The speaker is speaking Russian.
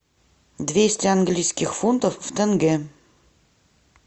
двести английских фунтов в тенге